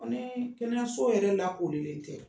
Koniii kɛnɛyaso yɛrɛ lakorilen tɛ